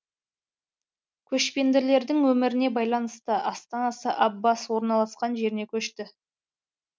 көшпенділердің өміріне байланысты астанасы аббас орналасқан жеріне көшті